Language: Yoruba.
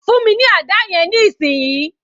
Fún mi ní àdá yẹn ní ìsìn yìí